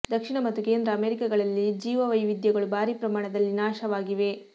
ದಕ್ಷಿಣ ಮತ್ತು ಕೇಂದ್ರ ಅಮೆರಿಕಗಳಲ್ಲಿ ಜೀವ ವೈವಿಧ್ಯಗಳು ಭಾರಿ ಪ್ರಮಾಣದಲ್ಲಿ ನಾಶವಾಗಿವೆ